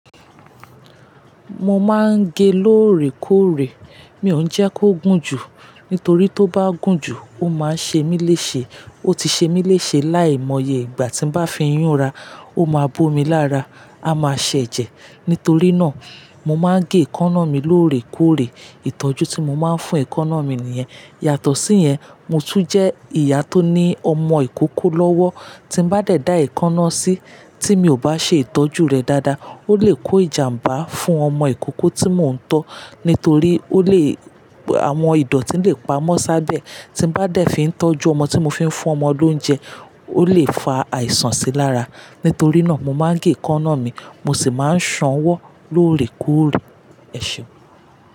Mo máa n gẹ lóòrè kóòrè. Mi ò ń jẹ kí ó gún jù, nítorí tí ó bá gún jù, ó máa ṣe mí léṣe. Ó ti ṣe mí léṣe láì mọ́yẹ́. Ìgbà tí n bá fi íyún ra, ó máa bó mi lára, a máa ṣẹ̀jẹ̀. Nítorí náà, mo máa n gẹ ẹ̀kọ́ná mi lóòrè kóòrè. Ìtọ́jú tí mo máa n fún ẹ̀kọ́ná mi nìyẹ́. Yàtọ̀ sí yẹn, mò tún jẹ́ ìyá tó ní ọmọ ìkókó lọ́wọ́. Tí n bá dẹ̀ dá ẹ̀kọ́ná sí, tí mi ò bá ṣe ìtọ́jú rẹ̀ dáadáa, ó le kọ ìjàmbá fún ọmọ ìkókó tí mò ń tọ́. Nítorí ó lé, àwọn ìdọ̀ tí ó lè pámọ́ sọ́bẹ̣̀ tí n bá dẹ̀ fí ń tọ́jú ọmọ tí mo fi ń fún ọmọ olóúnjẹ, ó lè fa àìsàn sí lára. Nítorí náà, mo máa n gẹ ẹ̀kọ́ná mi, mo sì máa ń sanwọ́ lóòrè kóòrè. Ẹ̀ṣẹ̀.